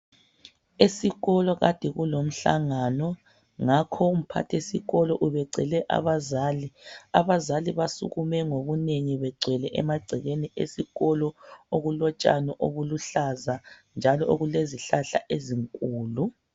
Esikolo kade kulomhlangano. Ngakho umphathisikolo ubecele abazali. Abazali basukume ngobunengi begcwele emagcekeni esikolo. Okulotshani obuluhlaza, lezihlahla ezinkulu.